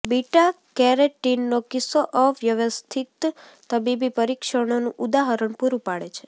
બિટા કેરોટિનનો કિસ્સો અવ્યવસ્થિત તબીબી પરીક્ષણોનું ઉદાહરણ પૂરૂં પાડે છે